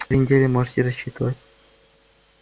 две недели можете рассчитывать